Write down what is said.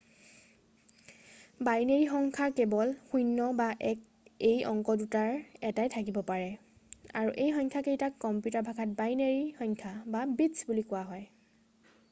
Binary সংখ্যাৰ কেৱল ০ বা ১ এই অংক দুটাৰ এটাই থাকিব পাৰে আৰু এই সংখ্যাকেইটাক কম্পিউটাৰৰ ভাষাত বাইনেৰী সংখ্যা বা বিট্‌ছ বুলি কোৱা হয়।